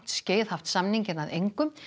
skeið haft samninginn að engu